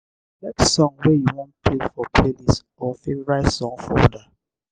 select song wey you wan play for playlist or favourite song folder